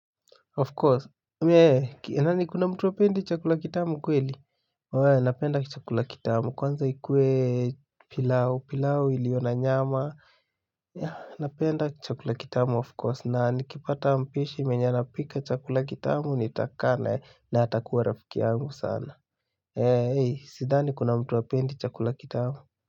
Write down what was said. Of course, yani kuna mtu hapendi chakula kitamu kweli? Wee, napenda chakula kitamu, kwanza ikue pilau, pilau iliyo na nyama. Napenda chakula kitamu of course, na nikipata mpishi mwenye anapika chakula kitamu nitakaa naye na atakuwa rafiki yangu sana. Sidhani kuna mtu hapendi chakula kitamu.